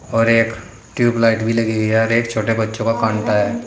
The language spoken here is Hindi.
और एक ट्यूबलाइट भी लगी हुई है और एक छोटा बच्चो का है।